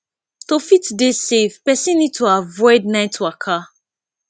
to fit dey safe person need to avoid night waka